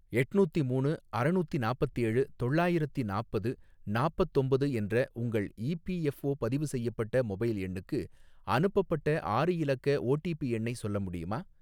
எட்நூத்தி மூணு அறநூத்தி நாப்பத்தேழு தொள்ளாயிரத்தி நாப்பது நாப்பத்தொம்பது என்ற உங்கள் இபிஎஃஓ பதிவு செய்யப்பட்ட மொபைல் எண்ணுக்கு அனுப்பப்பட்ட ஆறு இலக்க ஓடிபி எண்ணை சொல்ல முடியுமா?